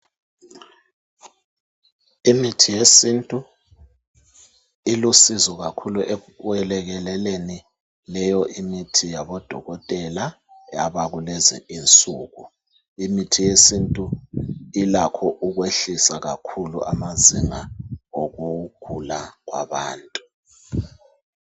Imithi yesintu, ilosizo kakhulu ekwelekeleleni leyo imithi yabodokotela abakulezi insuku. Imithi yesintu ilakho okwehlisa kakhulu amazinga okugula kwabantu.